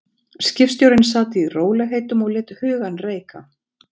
Skipstjórinn sat í rólegheitum og lét hugann reika.